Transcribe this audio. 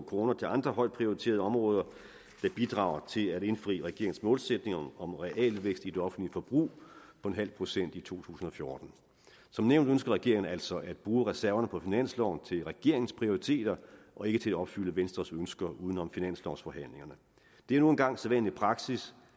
kroner til andre højt prioriterede områder der bidrager til at indfri regeringens målsætning om realvækst i det offentlige forbrug på nul procent i to tusind og fjorten som nævnt ønsker regeringen altså at bruge reserverne på finansloven til regeringens prioriteter og ikke til at opfylde venstres ønsker uden om finanslovsforhandlingerne det er nu engang sædvanlig praksis